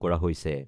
কৰা হৈছে।